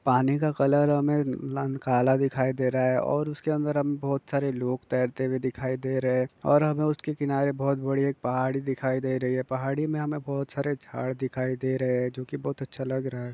पानी का कलर हमे एकदम काला दिखाई दे रहा है। और उस के अंदर हम बहुत सारे लोग टेरते हुए दिखाई दे रहे हैं। और हमें उस के किनारे बहुत बड़ी एक पहाड़ी दिखाई दे रही हैं। पहाड़ी में हमे बहुत सारे झाड दिखाई दे रहे हैंजो की बहुत अचछा लग रहा है।